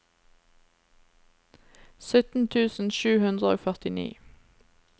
sytten tusen sju hundre og førtini